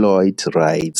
Lloyd Wright.